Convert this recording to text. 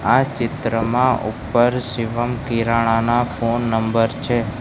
આ ચિત્રમાં ઉપર શિવમ કિરાણાના ફોન નંબર છે.